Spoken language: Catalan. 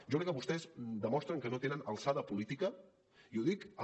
jo crec que vostès demostren que no tenen alçada política i ho dic amb